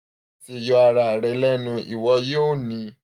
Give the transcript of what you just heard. yọ ara rẹ lẹnu iwọ yoo ni